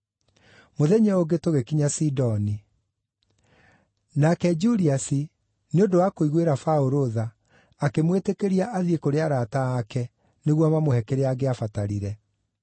Mũthenya ũyũ ũngĩ tũgĩkinya Sidoni; nake Juliasi, nĩ ũndũ wa kũiguĩra Paũlũ tha, akĩmwĩtĩkĩria athiĩ kũrĩ arata aake nĩguo mamũhe kĩrĩa angĩabatarire.